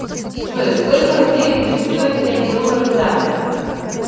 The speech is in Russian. джой сколько рублей будет стоить пять долларов завтра